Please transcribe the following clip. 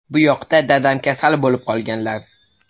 Buyoqda dadam kasal bo‘lib qoldilar.